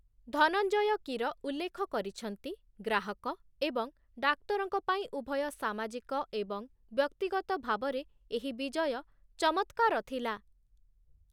ଧନଞ୍ଜୟ କୀର ଉଲ୍ଲେଖ କରିଛନ୍ତି, ଗ୍ରାହକ ଏବଂ ଡାକ୍ତରଙ୍କ ପାଇଁ ଉଭୟ ସାମାଜିକ ଏବଂ ବ୍ୟକ୍ତିଗତ ଭାବରେ ଏହି ବିଜୟ ଚମତ୍କାର ଥିଲା ।